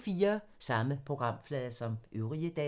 Samme programflade som øvrige dage